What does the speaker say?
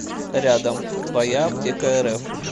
рядом твояаптекарф